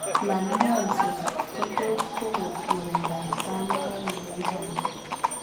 Malmoense ko tot kogon murindab tamogaik en katit